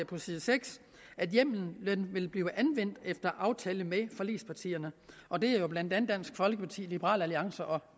på side seks at hjemmelen vil blive anvendt efter aftale med forligspartierne og det er jo blandt andet dansk folkeparti liberal alliance og